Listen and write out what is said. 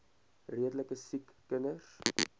redelike siek kinders